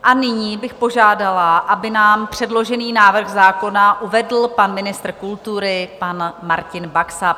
A nyní bych požádala, aby nám předložený návrh zákona uvedl pan ministr kultury pan Martin Baxa.